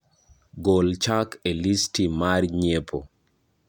Gol Chak e listi mara nyiepo